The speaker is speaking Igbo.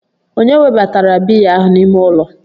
Ònye webatara biya ahụ n'ime ụlọ?